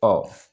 Ɔ